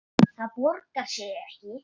Það borgar sig ekki